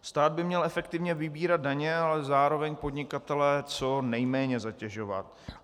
Stát by měl efektivně vybírat daně, ale zároveň podnikatele co nejméně zatěžovat.